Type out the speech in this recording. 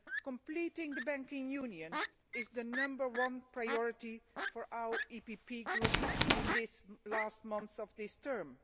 Completing the Banking Union is the number one priority for the PPE Group in the last months of this term.